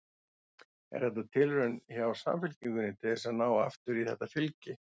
Er þetta tilraun hjá Samfylkingunni til þess að ná aftur í þetta fylgi?